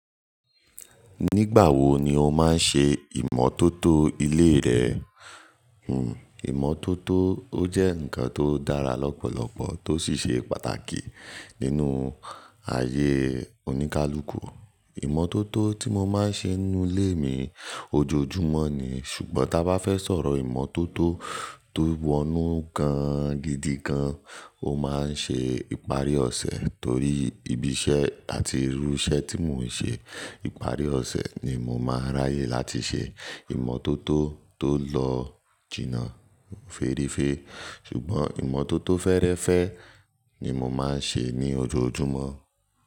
Nígbà wo ni o máa ń ṣe ìmọ́tótó ilé rẹ? Hmm ìmọ́tótó ó jẹ́ ǹkan tó dára lọ́pọ̀lọpọ̀ tó sì ṣe pàtàkì nínú ayé oníkálukú. Ìmọ́tótó tí mo máa ń ṣe ninú ilé mi ojoojúmọ́ ni, ṣùgbọ́n ta bá fẹ́ sọ̀rọ̀ ìmọ́tótó tó wọnú gan gidi gan, ó máa ń ṣe ìparí ọ̀sẹ̀ torí ibi iṣẹ́ àti irú iṣẹ́ tí mò ń ṣe. Ìparí ọ̀sẹ̀ ni mo máa ń ráyè láti ṣe ìmọ́tótó tó lọ jìnà fééréféé. Ṣùgbọ́n ìmọ́tótó fẹ́ẹ́rẹ́fẹ́ ni mo máa ń ṣe ní ojoojúmọ́